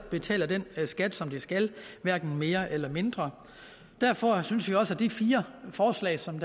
betaler den skat som de skal hverken mere eller mindre derfor synes vi også at de fire forslag som